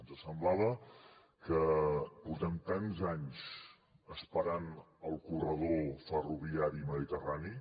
ens semblava que portem tants anys esperant el corredor ferroviari mediterrani